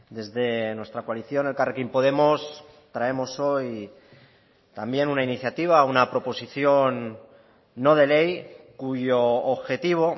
desde nuestra coalición elkarrekin podemos traemos hoy también una iniciativa una proposición no de ley cuyo objetivo